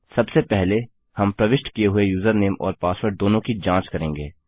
सबसे पहले हम प्रविष्ट किये हुए यूजरनेम और पासवर्ड दोनों की जाँच करेंगे